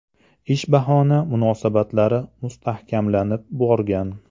Ish bahona munosabatlari mustahkamlanib borgan.